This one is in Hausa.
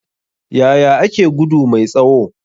Yaya ake gudu mai tsawo?